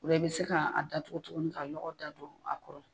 O la i bi se ka a datugu tuguni ka lɔgɔ dadon a kɔrɔ.